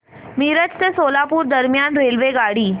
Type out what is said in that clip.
मिरज ते सोलापूर दरम्यान रेल्वेगाडी